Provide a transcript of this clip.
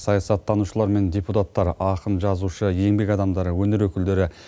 саясаттанушылар мен депутаттар ақын жазушы еңбек адамдары өнер өкілдері